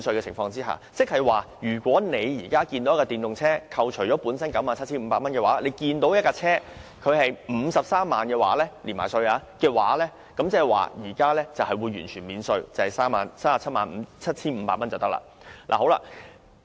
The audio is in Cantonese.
換言之，如果你想購買一輛電動車，之前在扣除 97,500 元稅務寬免後的含稅車價為 530,000 元，但在"一換一"計劃下則完全免稅，含稅車價只是 377,500 元。